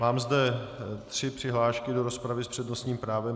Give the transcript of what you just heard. Mám zde tři přihlášky do rozpravy s přednostním právem.